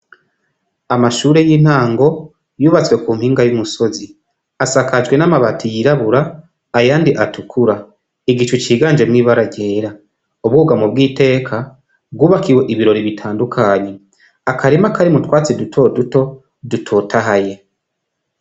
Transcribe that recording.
Amashure y'intango yubatswe ku mpinga y'umusozi asakajwe n'amabati yirabura ayandi atukura igicu ciganje mwibara ryera ubuga mu bw' iteka gubakiwe ibirori bitandukanye akarema akari mu twatsi duto duto dutotahaye.